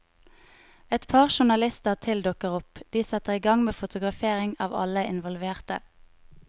Et par journalister til dukker opp, og de setter igang med fotografering av alle involverte.